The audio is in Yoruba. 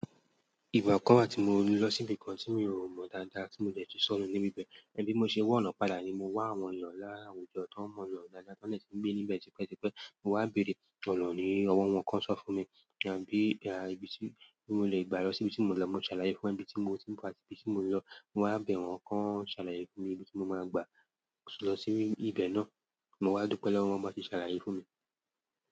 Ìgbà kan wà tí mo lọ síbi kan tí mi ò mọ dáadáa tí mo dè tú sọnù níbi bẹ́ẹ̀. Bí mo ṣe wọ̀nọ́ padà ni mo wá àwọn èèyàn lára àwùjọ tó mọ̀nọ́ dáadáa tó dè tí ń gbé níbẹ̀ tipẹ́tipẹ́. Mo wá bèrè ọ̀nà ní ọwọ́ wọn kan sọ fún mi, bí ibi tí mo lè gbà lọ síbi tí mo ń lọ. Mo ṣàlàyé fún wọn ibi tí mo ti ń bọ̀ àti ibi tí mo ń lọ. Mo wá bẹ̀ wọ́n kan ṣàlàyé fún mi ibi tí mo máa gbà lọ sí ibẹ̀ náà. Mo wá dúpẹ́ lọ́wọ́ wọn bá ti ṣàlàyé fún mi.